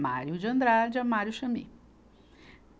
Mário de Andrade a Mário Chamie.